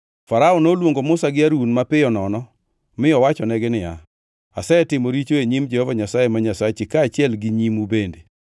Farao noluongo Musa gi Harun mapiyo nono mi owachonegi niya, “Asetimo richo e nyim Jehova Nyasaye ma Nyasachi kaachiel gi nyimu bende,